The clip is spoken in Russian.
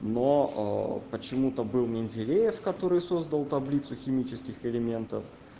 но почему-то был менделеев который создал таблицу химических элементов